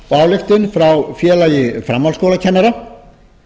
og ályktun frá félagi framhaldsskólakennara